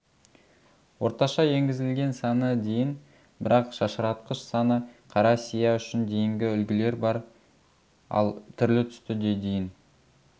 орташа енгізілген саны дейін бірақ шашыратқыш саны қара сия үшін дейінгі үлгілер бар ал түрлі-түсті де дейін